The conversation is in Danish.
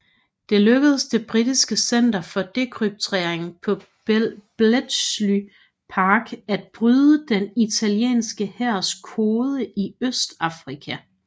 Det lykkedes det britiske center for dekryptering på Bletchley Park at bryde den italienske hærs kode i Østafrika